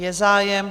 Je zájem.